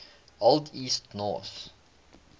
old east norse